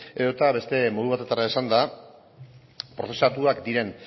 edota beste modu batetara esanda prozesatuak diren